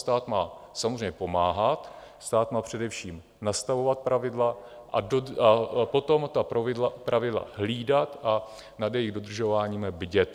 Stát má samozřejmě pomáhat, stát má především nastavit pravidla a potom ta pravidla hlídat a nad jejich dodržováním bdít.